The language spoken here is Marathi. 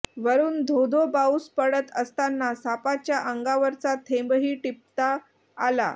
वरुन धोधो पाऊस पडत असताना सापाच्या अंगावरचा थेंबही टिपता आला